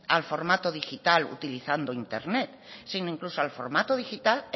al formato digital utilizando internet sino incluso al formato digital